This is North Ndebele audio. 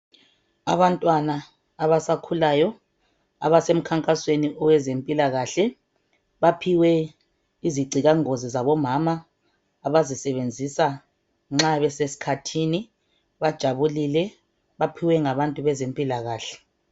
Abantwana abasakhulayo abasemkhankasweni owezempilakahle baphiwe izigcilangozi zabomama abazisebenzisa nxa besesikhathini bajabulile baphiwe ngabantu bezempilakahle.